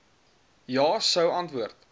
ja sou antwoord